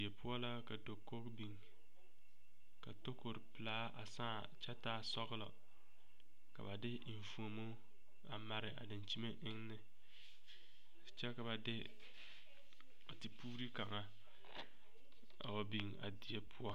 Die poɔ la ka dakogi biŋ ka tokore pelaa a sãã kyɛ taa sɔglɔ ka ba de enfuomo a mare a dakyime enne kyɛ ka ba de a tepoore kaŋa a wa biŋ a die poɔ.